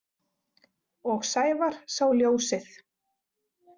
Og Sævar sá ljósið.